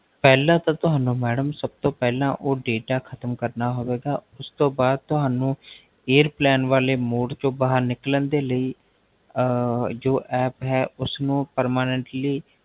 ਪਹਲਾ ਤਾ ਤੁਹਾਨੂੰ Madam ਸਬ ਤੋ ਪਹਲਾ ਓਹ Data ਖ਼ਤਮ ਕਰਨਾ ਹੋਵੇਗਾ ਉਸ ਤੋ ਬਾਦ ਤੁਹਾਨੂ Airplane ਵਾਲੇ Mode ਤੋ ਬਾਹਰ ਨਿਕਲਨ ਦੇ ਲਈ ਜੋ App ਹੈ ਉਸਨੂ Permanently